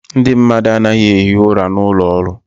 Ndị mmadụ anaghị ehi ụra n'ụlọ ọrụ.